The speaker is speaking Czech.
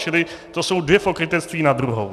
Čili to jsou dvě pokrytectví na druhou!